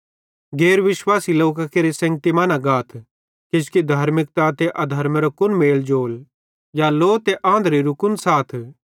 गैर विश्वासी लोकां केरे सेंगती मां न गाथ किजोकि धार्मिकता ते अधर्मेरो कुन मेल जोल या लो ते आंधरेरो कुन साथ